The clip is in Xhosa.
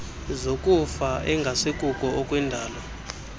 zokufa engasikuko okwendalo